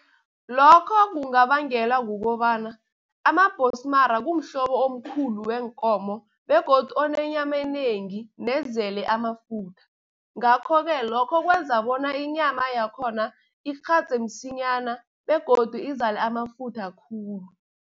Lokho kungabangelwa kukobana amabhonsmara, kumhlobo omkhulu weenkomo begodu onenyama enengi nezele amafutha. Ngakho-ke lokho kwenza bona inyama yakhona ikghadze msinyana begodu izale amafutha khulu.